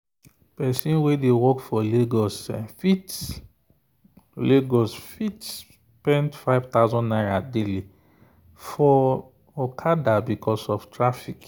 person wey dey go work for lagos fit lagos fit spend ₦5000 daily for okada because of traffic.